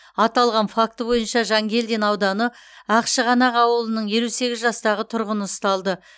аталған факті бойынша жангелдин ауданы ақшығанақ ауылының елу сегіз жастағы тұрғыны ұсталды